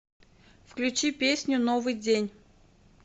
включи песню новый день